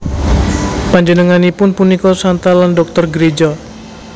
Panjenenganipun punika Santa lan Dhoktor Gréja